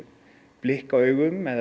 blikka augum eða